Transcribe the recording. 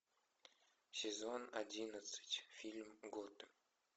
сезон одиннадцать фильм готэм